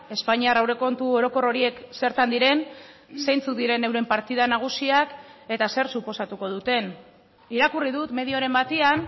espainiar aurrekontu orokor horiek zertan diren zeintzuk diren euren partida nagusiak eta zer suposatuko duten irakurri dut medioren batean